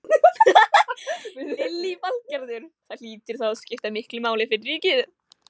Lillý Valgerður: Það hlýtur þá að skipta miklu máli fyrir ríkið?